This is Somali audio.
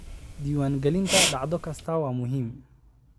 Diiwaangelinta dhacdo kasta waa muhiim.